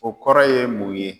O kɔrɔ ye mun ye?